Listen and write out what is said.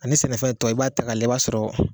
A ni sɛnɛfɛn tɔw i b'a ta k'a lajɛ i b'a sɔrɔ